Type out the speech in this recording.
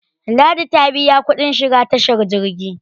ladi biya kudin shiga tashar jirgi